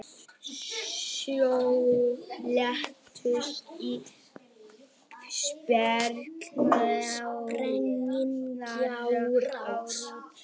Sjö létust í sprengjuárás á rútu